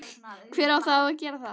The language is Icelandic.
hver á þá að gera það?